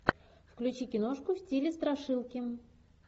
включи киношку в стиле страшилки